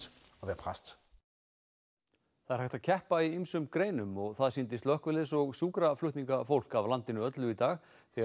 það er hægt að keppa í ýmsum greinum og það sýndi slökkviliðs og sjúkraflutningafólk af landinu öllu í dag þegar